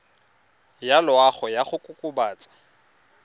ya loago ya go kokobatsa